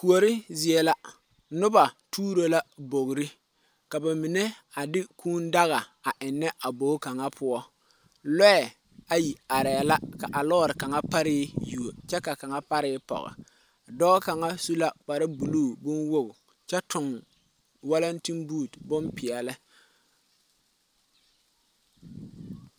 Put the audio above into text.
Kuori zie la noba tuuro la bogri ka ba mine a de kūūdaga a ennɛ a bogi kaŋa poɔ loɛ ayi arɛɛ la ka a loori kaŋa pare yuo kyɛ ka kaŋa pare pɔge dɔɔ kaŋa su la kpare buluu bonwogo kyɛ tuŋ walante boot bompeɛle.